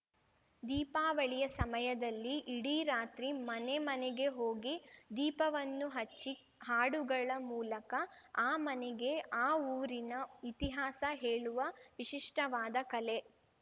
ದೀಪಾವಳಿಯ ಸಮಯದಲ್ಲಿ ಇಡೀ ರಾತ್ರಿ ಮನೆ ಮನೆಗೆ ಹೋಗಿ ದೀಪವನ್ನು ಹಚ್ಚಿ ಹಾಡುಗಳ ಮೂಲಕ ಆ ಮನೆಗೆ ಆ ಊರಿನ ಇತಿಹಾಸ ಹೇಳುವ ವಿಶಿಷ್ಟವಾದ ಕಲೆ